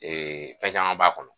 Ee fɛn caman b'a kɔnɔ.